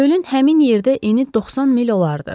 Gölün həmin yerdə eni 90 mil olardı.